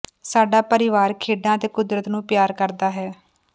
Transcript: ਸਾਡਾ ਪਰਿਵਾਰ ਖੇਡਾਂ ਅਤੇ ਕੁਦਰਤ ਨੂੰ ਪਿਆਰ ਕਰਦਾ ਹੈ